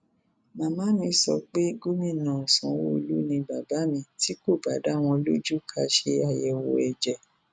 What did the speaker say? màmá mi sọ pé gómìnà sanwoluu ni bàbá mi tí kò bá dá wọn lójú ká ṣe àyẹwò ẹjẹ